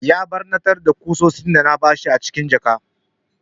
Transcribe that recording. Ya ɓarnatar da ƙusoshin da na bashi cikin jaka.